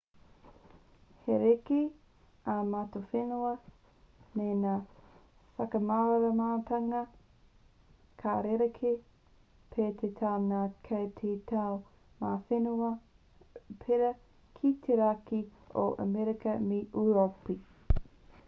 he rerekē ā-matawhenua nei ngā whakamāramatanga ka rerekē pea te tau ngā tau kei ngā whenua pērā ki te raki o amerika me ūropi